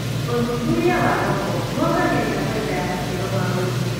ũthuthuria wa thoko nĩwongagĩrĩra bainda ya maciaro ma ũrĩmi.